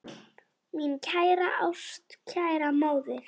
Mín kæra, ástkæra móðir.